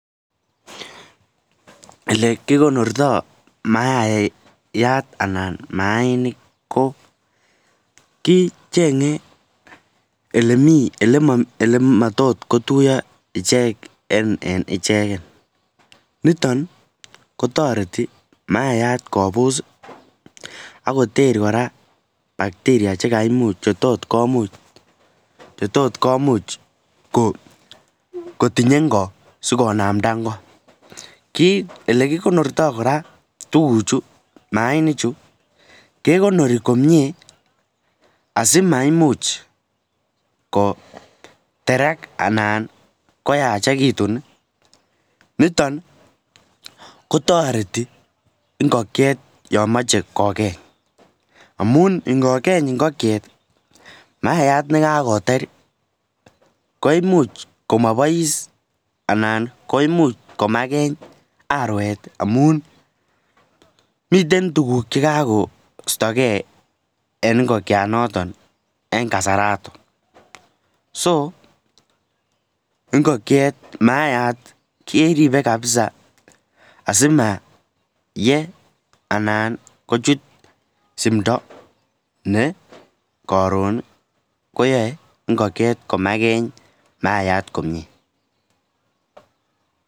Lee kikonorto mayainik Koo kichengen lematotkotuyoon icheken eng ichek kotoretii maiyat kobuss kotkomuch lekikonortoo kekonorii asi